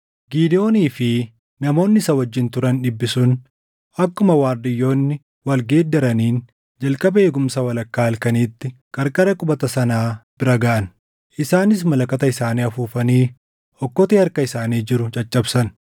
Gidewoonii fi namoonni isa wajjin turan dhibbi sun akkuma waardiyyoonni wal geeddaraniin jalqaba eegumsa walakkaa halkaniitti qarqara qubata sanaa bira gaʼan. Isaanis malakata isaanii afuufanii okkotee harka isaanii jiru caccabsan.